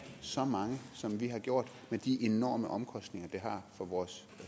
så mange som vi har gjort med de enorme omkostninger det har for vores